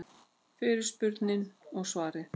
Fyrirspurnin og svarið